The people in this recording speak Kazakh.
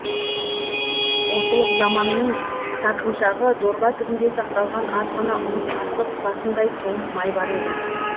молшылық заманның сарқыншағы дорба түбінде сақталған аз ғана ұн қасық басындай тоң май бар еді